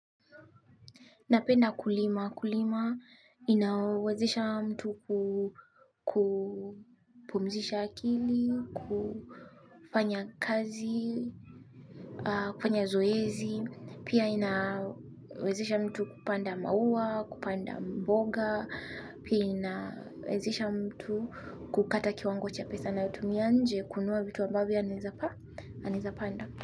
Napenda kulima. Kulima inawezesha mtu kupumzisha akili, kufanya kazi, kufanya zoezi. Pia inawezesha mtu kupanda maua, kupanda mboga. Pia inawezesha mtu kukata kiwango cha pesa anayo tumia nje kununua vitu ambavyo anaeza panda.